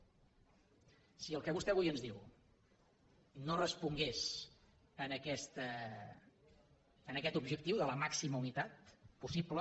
si el que vostè avui ens diu no respongués a aquest objectiu de la màxima unitat possible